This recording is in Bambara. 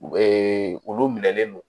olu minɛlen don